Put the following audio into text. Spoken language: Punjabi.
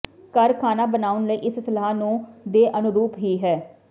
ਘਰ ਖਾਣਾ ਬਣਾਉਣ ਲਈ ਇਸ ਸਲਾਹ ਨੂੰ ਦੇ ਅਨੁਰੂਪ ਹੀ ਹੈ